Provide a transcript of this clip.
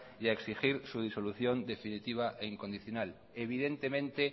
y a exigir su disolución definitiva e incondicional evidentemente